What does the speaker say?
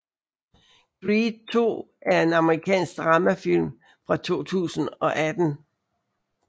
Creed II er en amerikansk dramafilm fra 2018